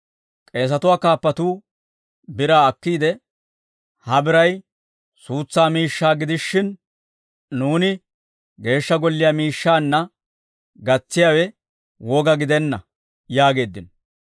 K'eesatuwaa kaappatuu biraa akkiide, «Ha biray suutsaa miishshaa gidishin, nuuni Geeshsha Golliyaa miishshaanna gatsiyaawe woga gidenna» yaageeddino.